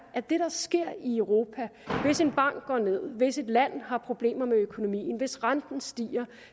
at det der sker i europa hvis en bank går ned hvis et land har problemer med økonomien hvis renten stiger